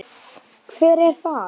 Heimir Már: Hver er það?